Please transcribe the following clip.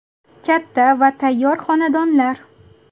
Katta va tayyor xonadonlar.